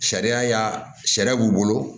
Sariya y'a sariya b'u bolo